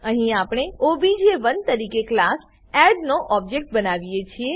અહીં આપણે ઓબીજે1 તરીકે ક્લાસ એડ નો ઓબજેક્ટ બનાવીએ છીએ